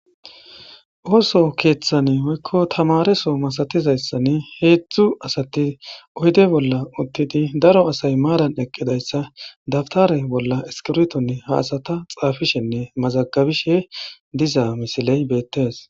ooso keeththani oykko tamareso masatizayssan heedzdzu asati oyde bolla uttidi daro asay maaran eqqidayssa dabtare bolla eskirtonne haasata xaafishenne mazagabishe dizaa misiley beettees